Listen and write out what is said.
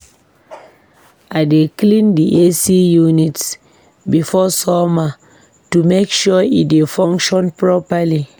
I dey clean the AC unit before summer to make sure e dey function properly.